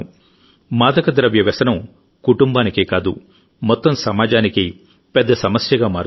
మాదకద్రవ్య వ్యసనం కుటుంబానికే కాదుమొత్తం సమాజానికి పెద్ద సమస్యగా మారుతుంది